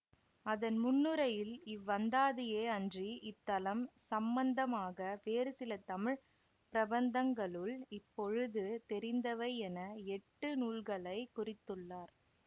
அதன் முன்னுரையில் இவ்வந்தாதியே அன்றி இத்தலம் சம்பந்தமாக வேறு சில தமிழ் பிரபந்தங்களுள் இப்பொழுது தெரிந்தவை என எட்டு நூல்களை குறித்துள்ளார்